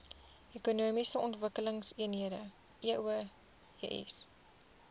ekonomiese ontwikkelingseenhede eoes